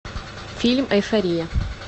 фильм эйфория